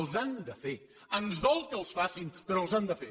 els han de fer ens dol que els facin però els han de fer